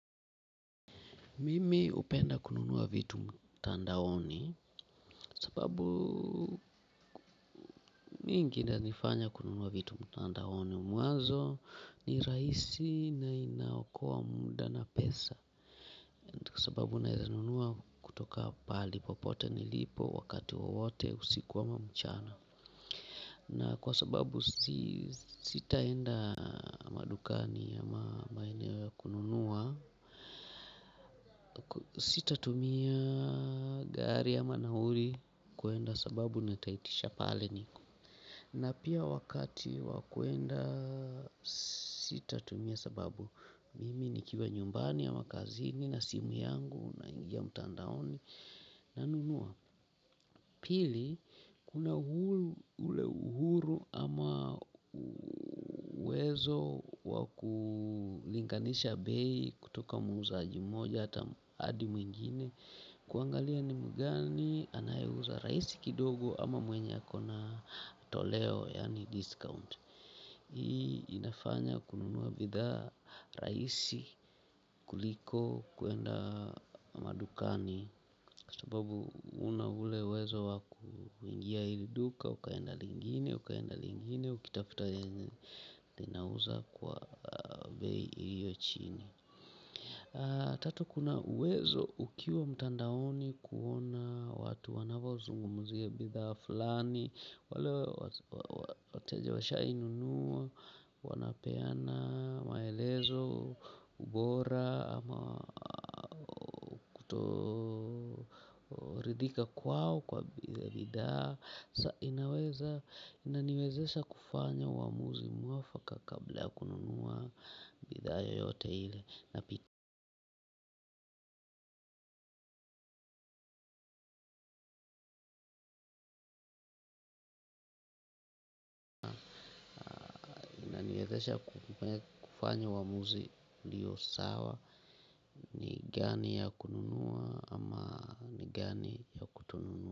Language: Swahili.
Mimi hupenda kununua vitu mtandaoni. Sababu mingi inanifanya kununua vitu mtandaoni mwanzo ni rahisi na inaokoa muda na pesa. Sababu naeza nunua kutoka pahali popote nilipo wakati wowote usiku ama mchana. Na kwa sababu si sitaenda madukani ama maeneo ya kununua sitatumia gari ama nauli kuenda sababu nitaitisha pale niko na pia wakati wa kuenda sitatumia sababu mimi nikiwa nyumbani ama kazini na simu yangu naingia mtandaoni nanunua pili kuna ule uhuru ama uwezo wa kulinganisha bei. Kutoka muuzaji moja hata hadi mwingine. Kuangalia ni mgani anayeuza rahisi kidogo ama mwenye ako na toleo yaani discount. Hii inafanya kununua bidhaa rahisi kuliko kuenda madukani. Kwa sababu huna ule uwezo wa kuingia hili duka, ukaenda lingine, ukaenda lingine, ukitafuta yenye linauza kwa bei iliyo chini. Tatu kuna uwezo ukiwa mtandaoni kuona watu wanavozungumzia bidhaa fulani. Wale wateja washainunua, wanapeana, maelezo, ubora, ama ridhika kwao kwa bidhaa sa inaweza inaniwezesha kufanya uamuzi mwafaka kabla ya kununua bidhaa yoyote ile. Napiti inaniezesha kufanya uamuzi uliyo sawa ni gani ya kununua ama ni gani ya kutonunua.